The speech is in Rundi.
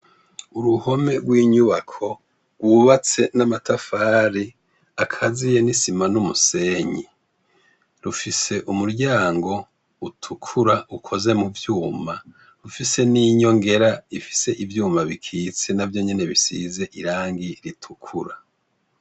Uruhome rw'inyubako rwubatse n'amatafari akaziye n'isima n'umusenyi, rufise umuryango utukura ukoze mu vyuma, rifise n'inyongera ifise ivyuma bikitse navyonyene bisize irangi ritukura.